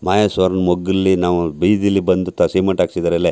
ಮಹೇಶ್ವರ ಮಗ್ಲ್ ಲ್ಲಿ ನಾವು ಬೀದಿಲಿ ಬಂದು ಸಿಮೆಂಟ್ ಹಾಕ್ಸಿದರಲ್ಲೇ --